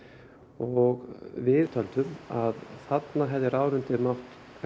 og við töldum að þarna hefði ráðuneytið mátt